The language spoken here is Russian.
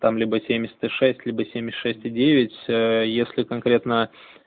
там либо семьдесят и шесть либо семьдесят шесть и девять если конкретно